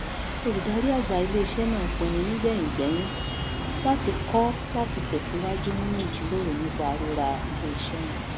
olùdarí àgbà iléiṣẹ náà pinnu nígbẹyìngbẹyín láti kọ láti tẹsíwájú nínú ìjíròrò nípa rírà iléiṣẹ́ náà